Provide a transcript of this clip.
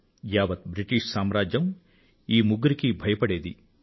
యావత్ బ్రిటిష్ సామ్రాజ్యం ఈ ముగ్గురికీ భయపడేది